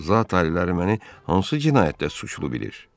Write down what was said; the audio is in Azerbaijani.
Zat aliləri məni hansı cinayətdə suçlu bilir?